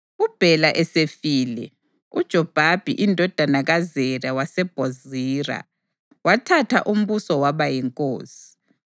UBhela esefile, uJobhabhi indodana kaZera waseBhozira wathatha umbuso waba yinkosi.